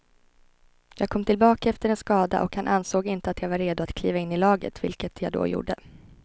Jag kom tillbaka efter en skada och han ansåg inte att jag var redo att kliva in i laget, vilket jag då gjorde.